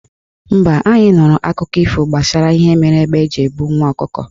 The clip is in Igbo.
Mba, anyị nụrụ akụkọ ifo gbasara ihe mere égbé ji ebu nwa ọkụkọ.